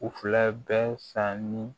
U fila bɛɛ sanni